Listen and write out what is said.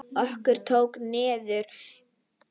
Okkur tók niðri!